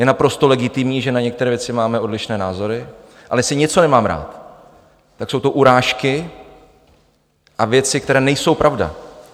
Je naprosto legitimní, že na některé věci máme odlišné názory, ale jestli něco nemám rád, tak jsou to urážky a věci, které nejsou pravda.